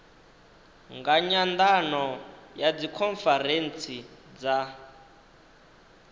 nga nyandano ya dzikhonferentsi dza